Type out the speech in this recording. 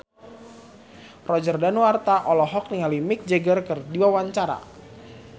Roger Danuarta olohok ningali Mick Jagger keur diwawancara